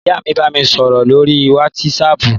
Ìyá mi bá mi sọ̀rọ̀ lóríi wátísapù